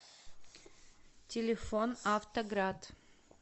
телефон автоград